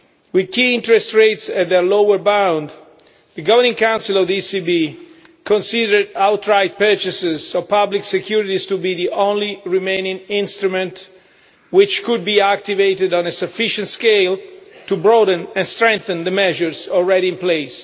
With key interest rates at their lower bound, the Governing Council of the ECB considered outright purchases of public securities to be the only remaining instrument which could be activated on a sufficient scale to broaden and strengthen the measures already in place.